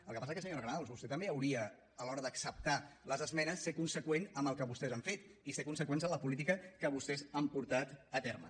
el que passa que senyora granados vostè també hauria a l’hora d’acceptar les esmenes ser conseqüent amb el que vostès han fet i ser conseqüents amb la política que vostès han portat a terme